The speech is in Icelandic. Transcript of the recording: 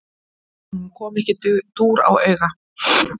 Honum kom ekki dúr á auga.